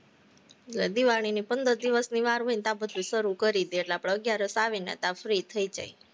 ન્યા દિવાળીની પંદર દિવસની વાર હોય ને ત્યાં બધું શરુ કરી દે એટલે આપણે અગિયારસ આવે ને ત્યાં free થઇ જાય